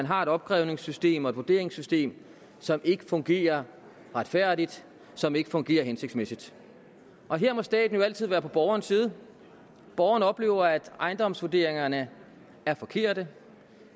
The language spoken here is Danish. har et opkrævningssystem og et vurderingssystem som ikke fungerer retfærdigt som ikke fungerer hensigtsmæssigt her må staten jo altid være på borgerens side borgeren oplever at ejendomsvurderingerne er forkerte